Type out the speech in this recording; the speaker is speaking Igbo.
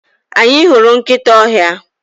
Anyị hụrụ nkịta ọhịa.